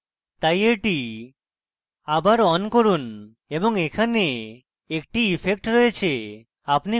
তাই এটি আবার on করুন এবং এখানে একটি ইফেক্ট রয়েছে